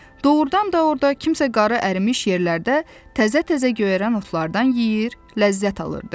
Doğrudan da orda kimsə qarı ərimiş yerlərdə təzə-təzə göyərən otlardan yeyir, ləzzət alırdı.